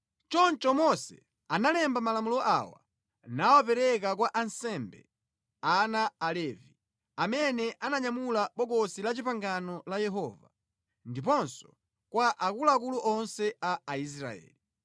Choncho Mose analemba malamulo awa nawapereka kwa ansembe, ana Alevi, amene amanyamula Bokosi la Chipangano la Yehova, ndiponso kwa akuluakulu onse a Aisraeli.